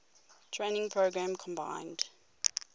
training program combined